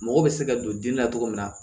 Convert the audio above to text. Mɔgɔ bɛ se ka don dimi na cogo min na